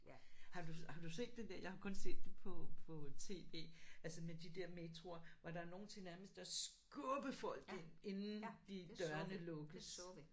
Har du har du set det der jeg har kun set på på tv altså med de der metroer hvor der er nogle til nærmest at skubbe folk ind inden de dørene lukkes